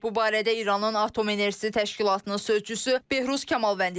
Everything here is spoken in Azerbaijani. Bu barədə İranın Atom Enerjisi Təşkilatının sözçüsü Behruz Kamalvəndi deyib.